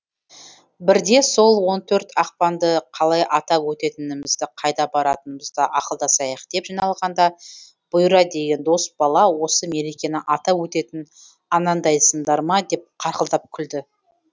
бірде сол он төрт ақпанды қалай атап өтетінімізді қайда баратынымызды ақылдасайық деп жиналғанда бұйра деген дос бала осы мерекені атап өтетін анандайсыңдар ма деп қарқылдап күлді